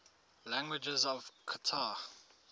languages of qatar